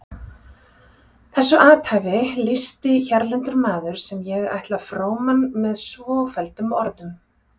Þessu athæfi lýsti hérlendur maður sem ég ætla fróman með svofelldum orðum